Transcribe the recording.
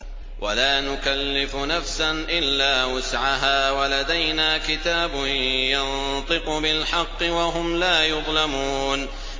وَلَا نُكَلِّفُ نَفْسًا إِلَّا وُسْعَهَا ۖ وَلَدَيْنَا كِتَابٌ يَنطِقُ بِالْحَقِّ ۚ وَهُمْ لَا يُظْلَمُونَ